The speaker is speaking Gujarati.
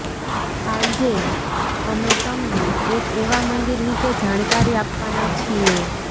આંજે અમે તમને એક એવા મંદિર વિષે જાણકારી આપવાના છીએ